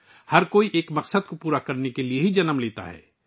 ہر کوئی ایک مقصد کو پورا کرنے کے لیے پیدا ہوتا ہے